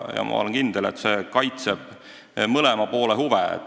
Ma olen kindel, et see kaitseb mõlema poole huve.